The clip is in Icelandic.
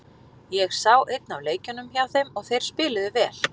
Ég sá einn af leikjunum hjá þeim og þeir spiluðu vel.